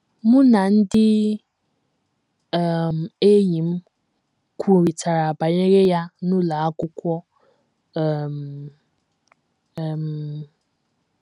Mụ na ndị um enyi m kwurịtara banyere ya n’ụlọ akwụkwọ um. um